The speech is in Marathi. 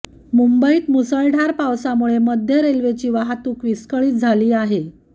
मुंबईत मुसळधार पावसामुळे मध्य रेल्वेची वाहतूक विस्कळीत झाली आहे